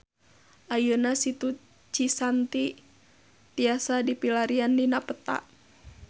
Ayeuna Situ Cisanti tiasa dipilarian dina peta